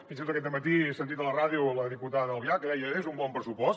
fins i tot aquest dematí he sentit a la ràdio la diputada albiach que deia és un bon pressupost